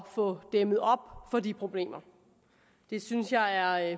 få dæmmet op for de problemer det synes jeg er